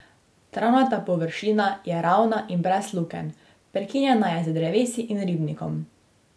Travnata površina je ravna in brez lukenj, prekinjena je z drevesi in ribnikom.